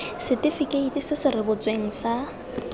setifikeiti se se rebotsweng sa